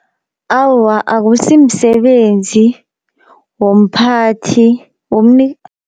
Awa akusi msebenzi womphathi